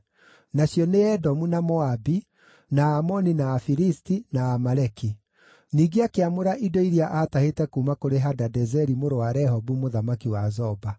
Nacio nĩ Edomu na Moabi, na Aamoni na Afilisti, na Amaleki. Ningĩ akĩamũra indo iria aatahĩte kuuma kũrĩ Hadadezeri mũrũ wa Rehobu mũthamaki wa Zoba.